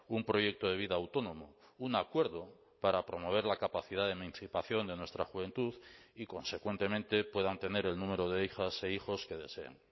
un proyecto de vida autónomo un acuerdo para promover la capacidad de emancipación de nuestra juventud y consecuentemente puedan tener el número de hijas e hijos que deseen